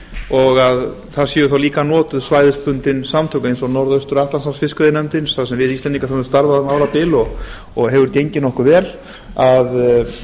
og að það séu þá líka notuð svæðisbundin samtök eins og norðaustur atlantshafsfiskveiðinefndin þar sem við íslendingar höfum starfað um árabil og hefur gengið nokkuð vel að